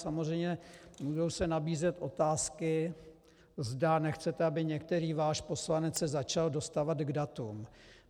Samozřejmě můžou se nabízet otázky, zda nechcete, aby některý váš poslanec se začal dostávat k datům.